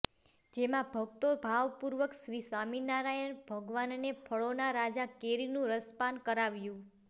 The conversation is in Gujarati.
જેમાં ભક્તો ભાવપૂર્વક શ્રીસ્વામિનારાયણ ભગવાનને ફળોના રાજા કેરીનું રસપાન કરાવ્યુ